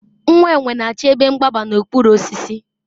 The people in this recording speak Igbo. nwa enwe na-achọ ebe mgbaba n'okpuru osisi